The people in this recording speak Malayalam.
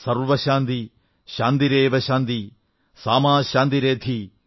സർവ ശാന്തിഃ ശാന്തിരേവ ശാന്തിഃ സാമാ ശാന്തിരേധി